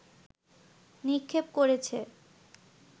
নিক্ষেপ করেছে